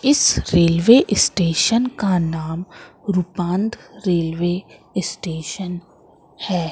इस railway station का नाम रुपान्त रेलवे स्टेशन है।